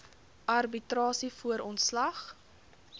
arbitrasie voor ontslag